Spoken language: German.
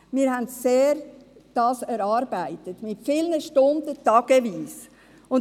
Wir erarbeiteten das stundelang, an vielen Tagen.